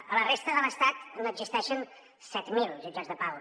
a la resta de l’estat n’existeixen set mil de jutjats de pau